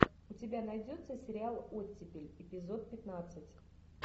у тебя найдется сериал оттепель эпизод пятнадцать